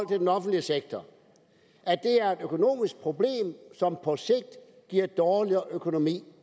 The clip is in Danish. den offentlige sektor er et økonomisk problem som på sigt giver dårligere økonomi